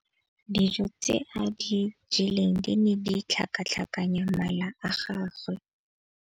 Dijô tse a di jeleng di ne di tlhakatlhakanya mala a gagwe.